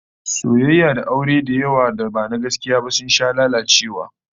Soyayya da aure da yawa da ba na gaskiya ba sun sha lalacewa